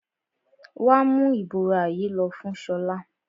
Wà á mú ìbora yìí lọ fún Ṣọlá!